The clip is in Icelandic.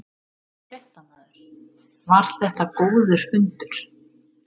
Fréttamaður: Var þetta góður fundur?